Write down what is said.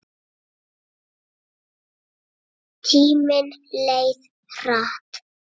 Tíminn leið hratt.